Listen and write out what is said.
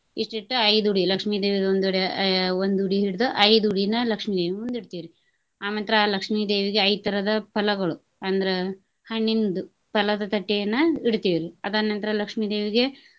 ಇಷ್ಟ ಇಟ್ಟ ಐದ ಉಡಿ ಲಕ್ಷ್ಮೀ ದೇವಿದ ಒಂದ್ ಉಡಿ ಆಹ್ ಒಂದ್ ಉಡಿ ಹಿಡಿದ ಐದ್ ಉಡಿನ ಲಕ್ಷ್ಮೀದೇವಿನ ಮುಂದ್ ಇಡ್ತಿವ್ರಿ. ಆಮಂತ್ರ ಲಕ್ಷ್ಮೀದೇವಿಗೆ ಐದ್ ತರದ ಫಲಗಳು ಅಂದ್ರ ಹಣ್ಣಿಂದ್ ಫಲದ ತಟ್ಟೆಯನ್ನ ಇಡ್ತಿವ್ರಿ ಅದರ ನಂತರ ಲಕ್ಷ್ಮೀದೇವಿಗೆ.